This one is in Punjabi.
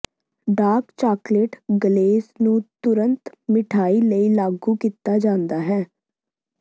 ਡਾਰਕ ਚਾਕਲੇਟ ਗਲੇਜ਼ ਨੂੰ ਤੁਰੰਤ ਮਿਠਆਈ ਲਈ ਲਾਗੂ ਕੀਤਾ ਜਾਂਦਾ ਹੈ